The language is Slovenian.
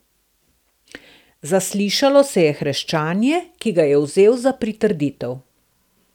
Zaslišalo se je hreščanje, ki ga je vzel za pritrditev.